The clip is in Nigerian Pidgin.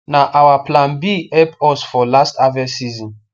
na our plan b help us for last harvest season